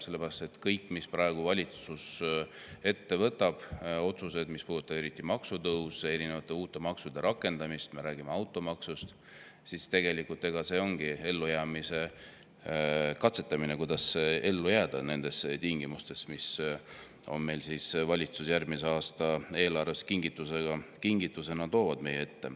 Sellepärast et kõik, mida valitsus ette võtab, eriti otsused, mis puudutavad maksutõuse ja erinevate uute maksude rakendamist, näiteks automaksu, siis see ongi ellujäämise katsetamine, kuidas ellu jääda nendes tingimustes, mis valitsus järgmise aasta eelarvega on kingitusena meie ette toonud.